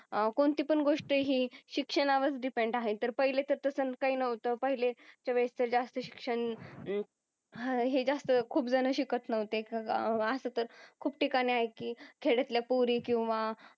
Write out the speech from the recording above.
अह कोणती पण गोष्ट ही शिक्षणावर डिपेंड आहे तर पहिले तर सारखा ना होता काही नव्हत पहिलेच्या वेळेसच जास्त शिक्षण हे जास्त खूप जण शिक्षण नव्हते अस तर खूप ठिकाणी आहे की खेड्यातल्या पोरी किंवा